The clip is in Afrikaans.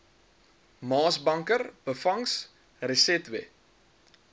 maasbanker byvangs resetwe